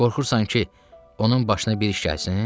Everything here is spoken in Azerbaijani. Qorxursan ki, onun başına bir iş gəlsin?